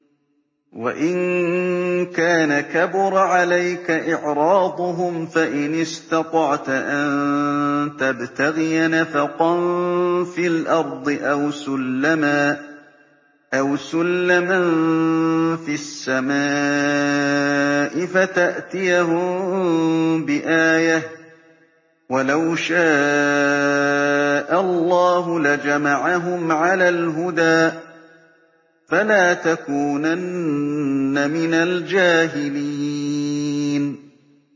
وَإِن كَانَ كَبُرَ عَلَيْكَ إِعْرَاضُهُمْ فَإِنِ اسْتَطَعْتَ أَن تَبْتَغِيَ نَفَقًا فِي الْأَرْضِ أَوْ سُلَّمًا فِي السَّمَاءِ فَتَأْتِيَهُم بِآيَةٍ ۚ وَلَوْ شَاءَ اللَّهُ لَجَمَعَهُمْ عَلَى الْهُدَىٰ ۚ فَلَا تَكُونَنَّ مِنَ الْجَاهِلِينَ